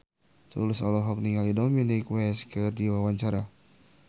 Tulus olohok ningali Dominic West keur diwawancara